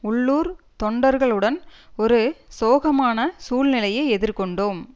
உள்ளூர் தொண்டர்களுடன் ஒரு சோகமான சூழ்நிலையை எதிர் கொண்டோம்